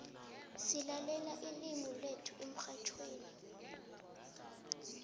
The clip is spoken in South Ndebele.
silalela ilimu lethu emxhatjhweni